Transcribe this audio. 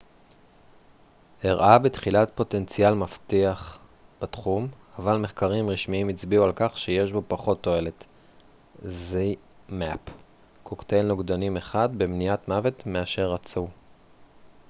קוקטייל נוגדנים אחד zmapp הראה בתחילה פוטנציאל מבטיח בתחום אבל מחקרים רשמיים הצביעו על כך שיש בו פחות תועלת במניעת מוות מאשר רצו